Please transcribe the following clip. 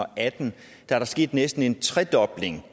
atten er der sket næsten en tredobling